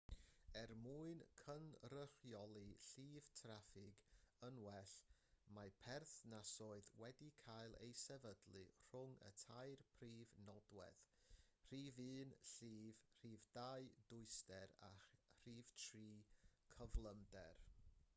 er mwyn cynrychioli llif traffig yn well mae perthnasoedd wedi cael eu sefydlu rhwng y tair prif nodwedd: 1 llif 2 dwyster a 3 cyflymder